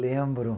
Lembro.